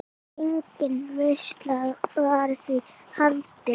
Engin veisla var því haldin.